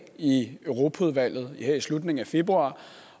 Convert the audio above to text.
i europaudvalget her i slutningen af februar